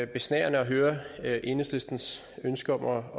besnærende at høre høre enhedslistens ønske om at